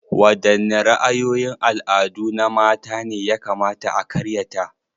Wadanne ra'ayoyin al'adu na mata ne ya kamata a karyata?